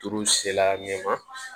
Tuuru sela ɲɛ ma